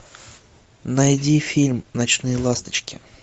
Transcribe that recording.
найди фильм ночные ласточки